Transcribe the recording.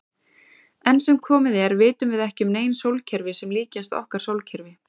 Enn sem komið er vitum við ekki um nein sólkerfi sem líkjast okkar sólkerfi.